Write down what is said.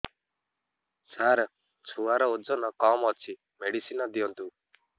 ସାର ଛୁଆର ଓଜନ କମ ଅଛି ମେଡିସିନ ଦିଅନ୍ତୁ